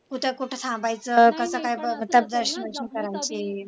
कुठं कुठं थांबायचं कस काय दर्शन करायचे